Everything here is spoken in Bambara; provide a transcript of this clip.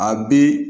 A bi